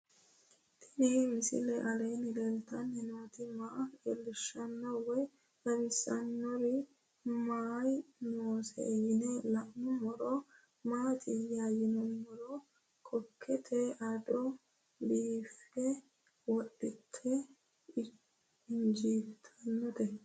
Tenni misile aleenni leelittanni nootti maa leelishshanno woy xawisannori may noosse yinne la'neemmori maattiya yinummoro koate adda biiffe wodhatte injjiittannotte